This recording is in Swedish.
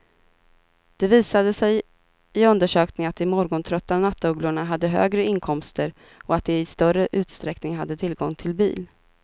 Det visade sig i undersökningen att de morgontrötta nattugglorna hade högre inkomster och att de i större utsträckning hade tillgång till bil.